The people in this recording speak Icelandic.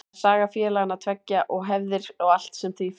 Það er saga félagana tveggja og hefðir og allt sem því fylgir.